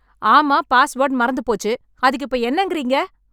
ஆமா, பாஸ்வர்ட் மறந்து போச்சு. அதுக்கு இப்போ என்னங்கறீங்க?